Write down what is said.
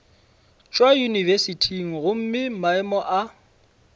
tšwa yunibesithing gomme maemo a